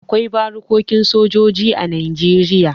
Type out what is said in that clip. Akwai barikokin sojoji a Najeriya.